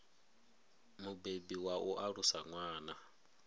mubebi wa u alusa ṅwana